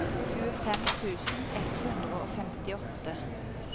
tjuefem tusen ett hundre og femtiåtte